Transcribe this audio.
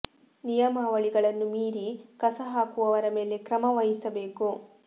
ನಿಯಮಾವಳಿ ಗಳನ್ನು ಮೀರಿ ಕಸ ಹಾಕುವವರ ಮೇಲೆ ಕ್ರಮ ವಹಿಸ ಬೇಕು